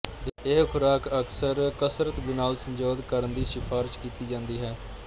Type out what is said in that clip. ਇਹ ਖੁਰਾਕ ਅਕਸਰ ਕਸਰਤ ਦੇ ਨਾਲ ਸੰਯੋਜਿਤ ਕਰਨ ਦੀ ਸਿਫਾਰਸ਼ ਕੀਤੀ ਜਾਂਦੀ ਹੈ